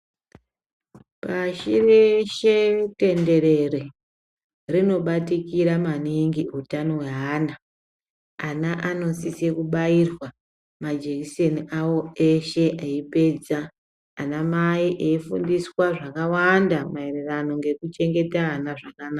Pashi reshe tenderere rinobatikira maningi hutano hwevana ana anosisa kubairwa majekiseni awo eipedza ana mai eifundiswa zvakawanda maererano nekuchengeta ana zvakanaka.